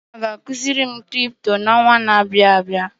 Nnenna ga ekuzi mụ Crypto na ọnwa na abịa